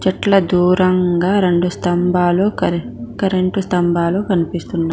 చెట్ల దూరంగా రెండు స్తంభాలు కరే కరెంటు స్తంభాలు కనిపిస్తున్నా--